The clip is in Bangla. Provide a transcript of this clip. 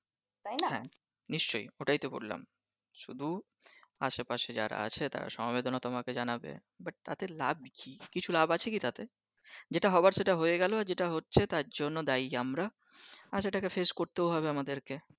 শুধু আসে পাশে যারা আছে তারা সমবেদনা তোমাকে জানাবে but তাতেই লাভ কি কিছু লাভ আছে কি তাতে যেটা হবার সেটা হয়ে গেলো যেটা হচ্ছে তার জন্য দায়ী আমরা আর সেটাকে face করতেও হবে আমাদেরকে